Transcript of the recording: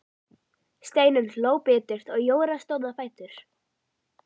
Steinunn hló biturt og Jóra stóð á fætur.